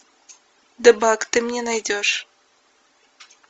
дебаг ты мне найдешь